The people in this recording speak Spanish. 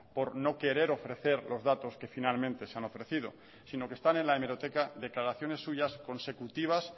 por no querer ofrecer los datos que finalmente se han ofrecido sino que están en la hemeroteca declaraciones suyas consecutivas